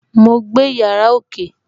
Mo gbé yàrá ókè